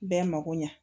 Bɛɛ mago ɲɛ